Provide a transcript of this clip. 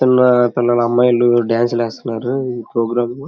ఇక్కడ కొందరు అమ్మాయిలు డాన్స్ లు వేస్తున్నారు ప్రోగ్రాం --